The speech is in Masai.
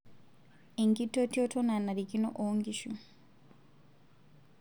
Enkitotioto nanarikino oonkishu.